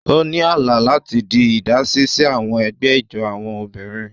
O ni àlá láti ti idasi si àwọn ègbé ijó àwọn obìnrin.